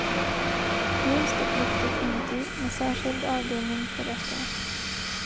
Ljust och luftigt inuti, med särskild avdelning för rökare.